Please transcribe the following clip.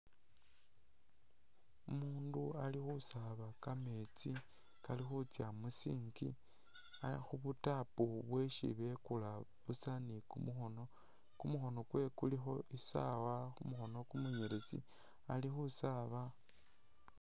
Umundu alikhusaaba kameetsi kalikhutsa mu' sink, Ali khubu'tap bweshi bekuula buusa ni'kumukhono , kumukhono kwewe kulikho isaawa khumikhono kumunyeletsi alikhusaba